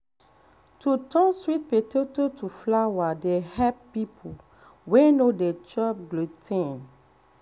to turn sweet potato to flour dey help people wey no dey chop glu ten.